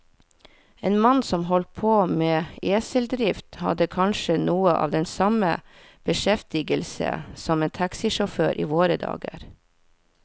En mann som holdt på med eseldrift, hadde kanskje noe av den samme beskjeftigelse som en taxisjåfør i våre dager.